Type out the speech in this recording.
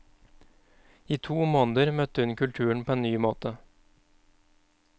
I to måneder møtte hun kulturen på en ny måte.